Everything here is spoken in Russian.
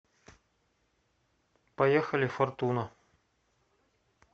поехали фортуна